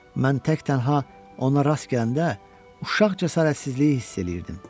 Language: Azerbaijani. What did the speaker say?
Mən tək-tənha ona rast gələndə uşaq cəsarətsizliyi hiss eləyirdim.